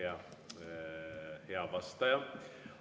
Jah, hea vastaja ...